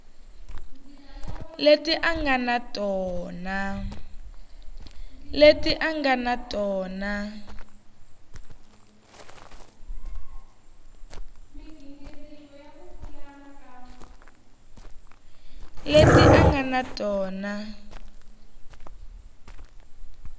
leti a nga na tona